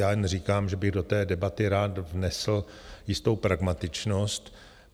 Já jen říkám, že bych do té debaty rád vnesl jistou pragmatičnost.